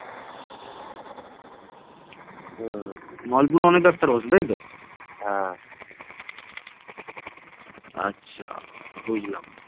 ভারতে মুসলিম শাসন প্রথম প্রতিষ্ঠা করেন মুহম্মদ ঘুরী বাংলায় প্রথম মুসলিম শাসন প্রতিষ্ঠা করেন ইখতিয়ার উদ্দীন মুহম্মদ বিন বখতিয়ার খলজি